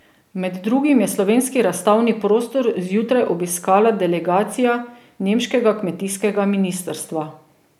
Med drugim je slovenski razstavni prostor zjutraj obiskala delegacija nemškega kmetijskega ministrstva.